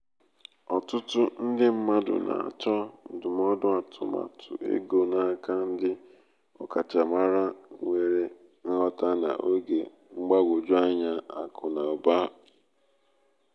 ọtụtụ ndị mmadụ na-achọ ndụmọdụ atụmatụ ego n'aka ndị ọkachamara nwere nghota n’oge mgbagwoju anya akụ na ụba. ụba.